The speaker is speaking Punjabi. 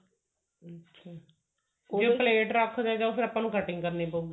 ਪ੍ਲੇਟੇ ਰੱਖ ਦੇ ਫ਼ੇਰ ਆਪਾਂ ਨੂੰ cutting ਕਰਨ ਪਉਗੀ